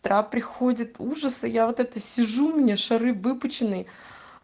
вчера приходит ужаса я вот это сижу меня шары выпущенный